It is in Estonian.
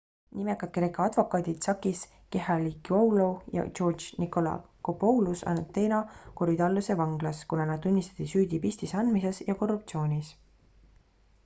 nimekad kreeka advokaadid sakis kechagioglou ja george nikolakopoulos on ateena korydalluse vanglas kuna nad tunnistati süüdi pistise andmises ja korruptsioonis